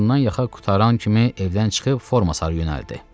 yaxa qurtaran kimi evdən çıxıb forma sarı yönəldi.